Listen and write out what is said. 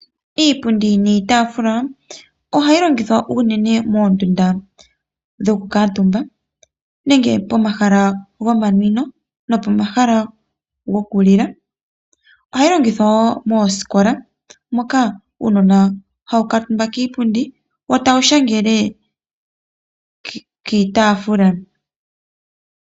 Iipundi niitafula, ohayi longithwa unene moondunda dhokukuutumba nenge pomahala gomanwino nopomahala gokulila. Ohayi longithwa wo moosikola, moka uunona hawu kuutumba kiipundi, wo tawu shangele kiitaafula.